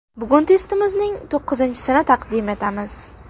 Bugun testimizning to‘qqizinchisini taqdim etamiz.